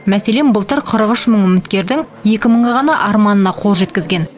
мәселен былтыр қырық үш мың үміткердің екі мыңы ғана арманына қол жеткізген